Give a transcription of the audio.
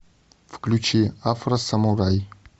включи афросамурай